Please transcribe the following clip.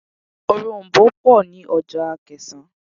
Òroǹbó pọ̀ ní ọjà Akẹ̀sán.